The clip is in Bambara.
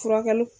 Furakɛli